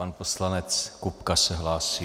Pan poslanec Kupka se hlásí.